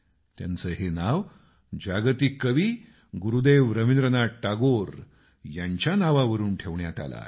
त्यांचं हे नाव जागतिक कवी गुरुदेव टागोर यांच्या नावावरून ठेवण्यात आलं आहे